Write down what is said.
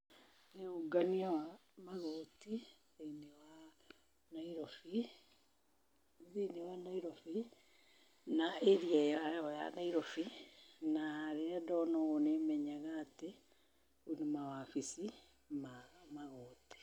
Nĩũngania wa magoti thĩiniĩ wa Nairobi, thĩiniĩ wa Nairobi na area ĩo ya Nairobi na rĩria ndona ũũ nĩmenyaga atĩ nĩmawobici ma magoti.